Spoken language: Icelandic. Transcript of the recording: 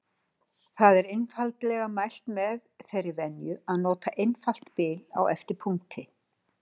Þar er einfaldlega mælt með þeirri venju að nota einfalt bil á eftir punkti.